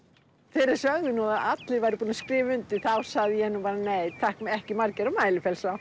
þeir sögðu nú að allir væru búnir að skrifa undir þá sagði ég nú bara nei takk ekki Margeir á